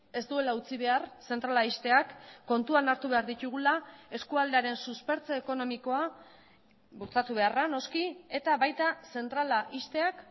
ez duela utzi behar zentrala ixteak kontuan hartu behar ditugula eskualdearen suspertze ekonomikoa bultzatu beharra noski eta baita zentrala ixteak